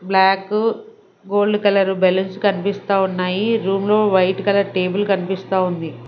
Black gold colour balloons కనిపిస్తా ఉన్నాయి room లో వైట్ కలర్ టేబుల్ కనిపిస్తా ఉంది.